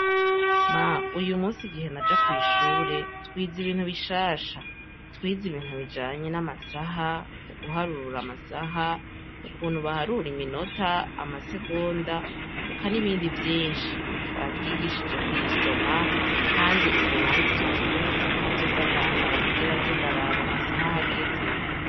Ma! Uyu munsi, igihe naja kw'ishure twize ibintu bishasha. Twize ibintu bijanye n'amasaha, uguharura amasaha, ukuntu baharura iminota, amasegonda eka n'ibindi vyinshi. Batwigishije kuyisoma kandi ubu nanje uzoca ungurira isaka nzoza ndambara kugira ngo nze ndaraba amasaha aho ageze.